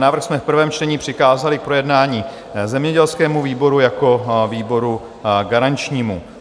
Návrh jsme v prvém čtení přikázali k projednání zemědělskému výboru jako výboru garančnímu.